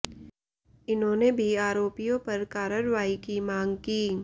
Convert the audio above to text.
इन्होंने भी आरोपियों पर कार्रवाई की मांग की